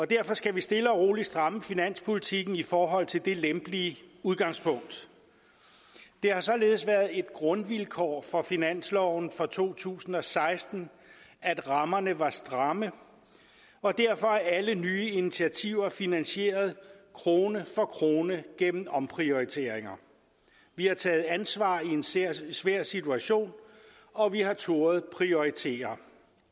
derfor skal vi stille og roligt stramme finanspolitikken i forhold til det lempelige udgangspunkt det har således været et grundvilkår for finansloven for to tusind og seksten at rammerne var stramme og derfor er alle nye initiativer finansieret krone for krone gennem omprioriteringer vi har taget ansvar i en svær svær situation og vi har turdet prioritere